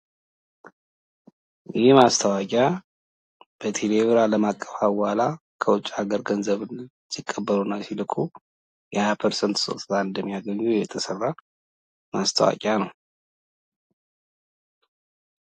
ይህ ማስታወቂያ በቴሌብር አለም አቀፍ ሀዋላ ከውጭ አገር ገንዘብን ሲቀበሉና ሲልኩ የ20 ፐርሰንት ስጦታ እንደማያገኙ የተሰራ ማስታወቂያ ነው።